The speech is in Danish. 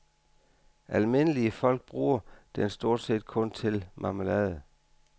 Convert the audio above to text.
Almindelige folk bruger den stort set kun til marmelade.